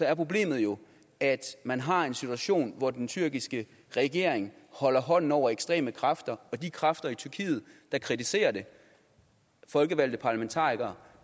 er problemet jo at man har en situation hvor den tyrkiske regering holder hånden over ekstreme kræfter og at de kræfter i tyrkiet der kritiserer det folkevalgte parlamentarikere